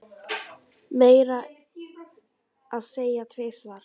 Meira að segja tvisvar